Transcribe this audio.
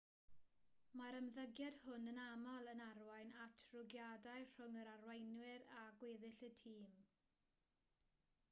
mae'r ymddygiad hwn yn aml yn arwain at rwygiadau rhwng yr arweinwyr a gweddill y tîm